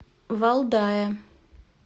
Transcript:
валдая